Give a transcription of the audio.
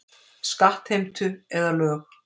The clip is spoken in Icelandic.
Skattheimtu eða lög.